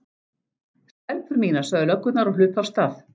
Stelpur mínar sögðu löggurnar og hlupu af stað.